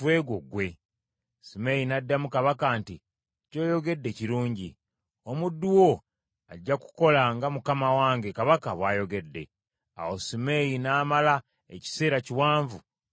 Simeeyi n’addamu Kabaka nti, “Ky’oyogedde kirungi. Omuddu wo ajja kukola nga mukama wange kabaka bw’ayogedde.” Awo Simeeyi n’amala ekiseera kiwanvu mu Yerusaalemi.